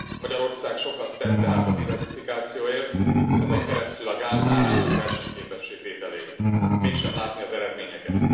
Magyarország sokat tett tehát a diverzifikációért, ezen keresztül a gáz árának versenyképessé tételéért, mégsem látni az eredményeket.